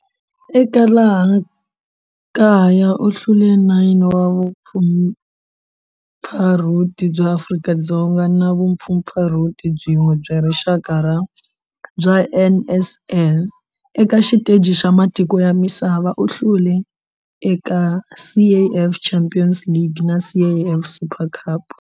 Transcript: Eka laha kaya u hlule 9 wa vumpfampfarhuti bya Afrika-Dzonga na vumpfampfarhuti byin'we bya rixaka bya NSL. Eka xiteji xa matiko ya misava, u hlule eka CAF Champions League na CAF Super Cup.